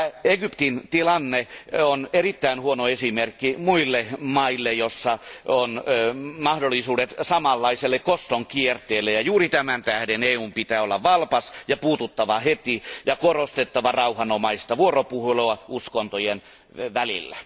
Egyptin tilanne on erittäin huono esimerkki muille maille, joissa on mahdollisuudet samanlaiselle koston kierteelle, ja juuri tämän tähden EUn pitää olla valpas ja on puututtava heti ja korostettava rauhanomaista vuoropuhelua uskontojen välillä.